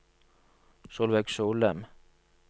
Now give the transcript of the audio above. Solveig Solem